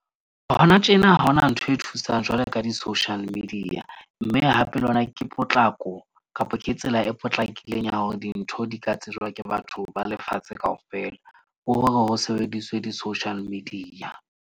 Hona tjena ha hona ntho e thusang jwalo ka di-social media. Mme hape le hona ke potlako kapa ke tsela e potlakileng ya hore dintho di ka tsejwa ke batho ba lefatshe kaofela. Hore ho sebediswe di-social media.